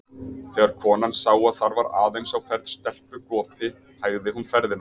Þegar konan sá að þar var aðeins á ferð stelpugopi, hægði hún ferðina.